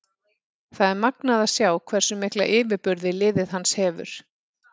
Það er magnað að sjá hversu mikla yfirburði liðið hans hefur.